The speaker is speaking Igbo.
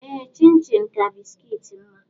Ee chin-chin ka bisikiiti mma.